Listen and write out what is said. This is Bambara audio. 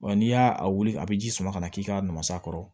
Wa n'i y'a wuli a bɛ ji sama ka na k'i k'a mas'a kɔrɔ